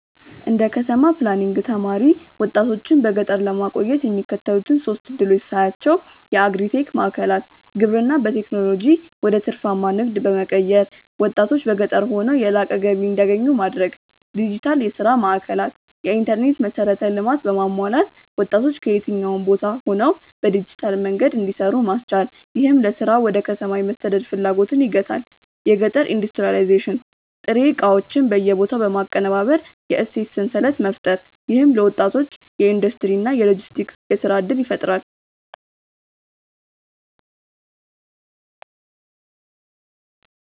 እንደ ከተማ ፕላኒንግ ተማሪ፣ ወጣቶችን በገጠር ለማቆየት የሚከተሉትን ሶስት ዕድሎች ሳያቸው የአግሪ-ቴክ ማዕከላት: ግብርናን በቴክኖሎጂ ወደ ትርፋማ ንግድ በመቀየር፣ ወጣቶች በገጠር ሆነው የላቀ ገቢ እንዲያገኙ ማድረግ። ዲጂታል የሥራ ማዕከላት: የኢንተርኔት መሠረተ ልማት በማሟላት ወጣቶች ከየትኛውም ቦታ ሆነው በዲጂታል መንገድ እንዲሰሩ ማስቻል፣ ይህም ለሥራ ወደ ከተማ የመሰደድ ፍላጎትን ይገታል። የገጠር ኢንዱስትሪያላይዜሽን: ጥሬ ዕቃዎችን በቦታው በማቀነባበር የእሴት ሰንሰለት መፍጠር። ይህም ለወጣቶች የኢንዱስትሪ እና የሎጂስቲክስ የሥራ ዕድል ይፈጥራል።